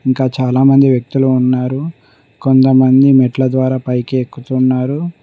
ఇంకా చాలామంది వ్యక్తులు ఉన్నారు కొంతమంది మెట్ల ద్వారా పైకి ఎక్కుతున్నారు.